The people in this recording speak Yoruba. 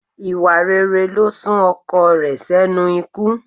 Ìwà rere ló sún ọkọ rẹ̀ sẹ́nu ikú